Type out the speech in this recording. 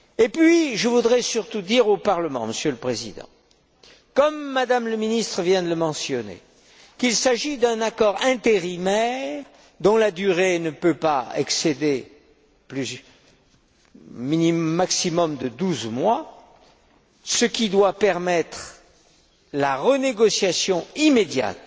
Puis, je voudrais surtout dire au Parlement, Monsieur le Président, comme M me la ministre vient de le mentionner, qu'il s'agit d'un accord intérimaire dont la durée ne peut pas excéder un maximum de douze mois, ce qui doit permettre sa renégociation immédiate,